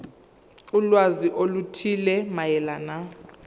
ulwazi oluthile mayelana